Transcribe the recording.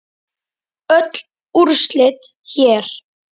Öll úrslit hér